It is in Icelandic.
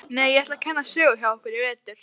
Nei, ég ætla að kenna sögu hjá ykkur í vetur.